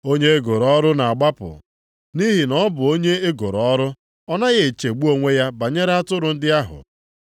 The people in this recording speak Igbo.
Onye e goro ọrụ na-agbapụ, nʼihi na ọ bụ onye e goro ọrụ, ọ naghị echegbu onwe ya banyere atụrụ ndị ahụ.